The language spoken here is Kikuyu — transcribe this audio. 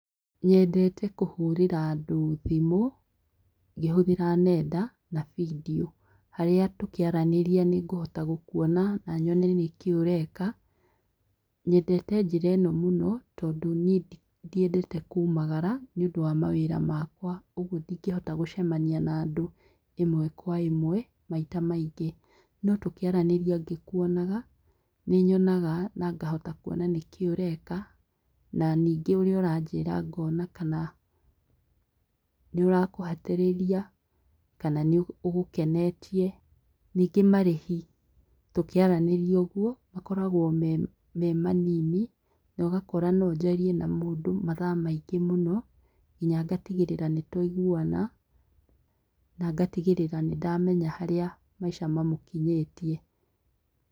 Nyendete kũhũrĩra andũ thimũ ngĩhũthĩra nenda na bindiũ, harĩa tũkĩaranĩria nĩngũhota gũkuona na nyone nĩkĩĩ ũreka nyendete njĩra ĩno mũno tondũ nie ndiendete kumagara nĩũndũ wa mawĩra makwa ũgũo ndĩngehota gũcemania na andũ ĩmwe kwa ĩmwe maita maingĩ no tũkĩaranĩria ngĩkuonaga nĩnyonaga na ngahota kuona nĩkĩĩ ũreka na ningĩ ũrĩa ũranjĩra ngona kana nĩũrakũhatĩrĩria kana nĩ ũgũkenetie. Ningĩ marĩhi tũkĩaranĩria ũguo makoragwo me manini na ũgakora no njarie na mũndũ mathaa maingĩ mũno nginya ngatigĩrĩra nĩtwaiguana na ngatigĩrĩra nĩndamenya harĩa maica mamũkinyĩtie.